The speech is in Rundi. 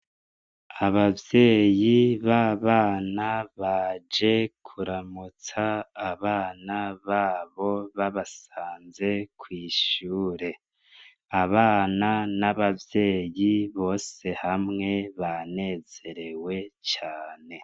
Abavyeyi b’abana baje kuramutsa abana babo babasanze kw’ishure abana n’abavyeyi bose hamwe banezerewe cane.